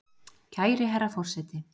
Kæri herra forseti!